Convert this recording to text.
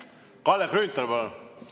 Kalle Grünthal, palun!